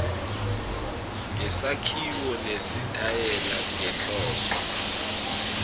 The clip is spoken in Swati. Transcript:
ngesakhiwo nesitayela ngenhloso